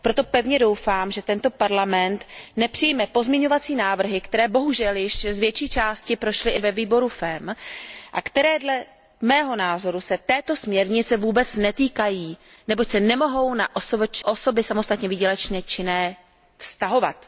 Proto pevně doufám, že tento parlament nepřijme pozměňovací návrhy, které bohužel již z větší části prošly i ve výboru FEMM a které se dle mého názoru této směrnice vůbec netýkají, neboť se nemohou na osoby samostatně výdělečně činné vztahovat.